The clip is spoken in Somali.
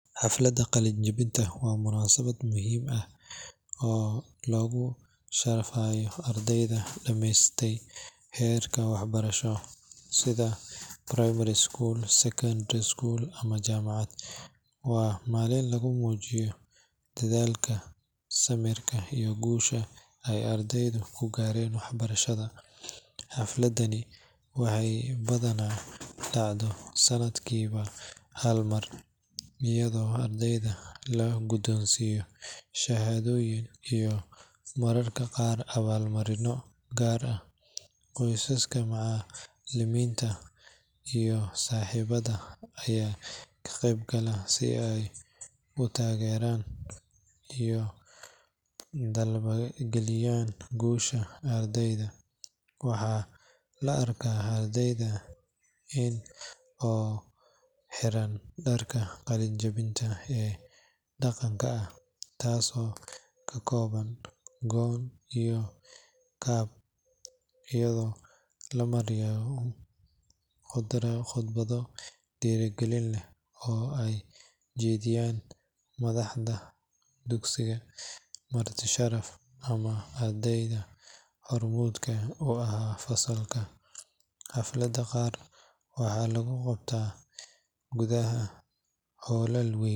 Xafladda qalin-jabinta waa munaasabad muhiim ah oo lagu sharfayo ardayda dhamaystay heer waxbarasho sida primary school, secondary school, ama jaamacad. Waa maalin lagu muujiyo dadaalka, samirka, iyo guusha ay ardaydu ku gaareen waxbarashada. Xafladdani waxay badanaa dhacdaa sanadkiiba hal mar, iyadoo ardayda la guddoonsiiyo shahaadooyin iyo mararka qaar abaalmarinno gaar ah. Qoysaska, macallimiinta, iyo saaxiibada ayaa ka qeyb gala si ay u taageeraan una dabaaldegaan guusha ardayda. Waxaa la arkaa ardayda oo xiran dharka qalin-jabinta ee dhaqanka ah, kaasoo ka kooban gown iyo cap, iyadoo la maqlayo khudbado dhiirrigelin leh oo ay jeedinayaan madaxda dugsiga, marti-sharaf, ama arday hormuud u ahaa fasalka. Xafladaha qaar waxaa lagu qabtaa gudaha hoolal weyn,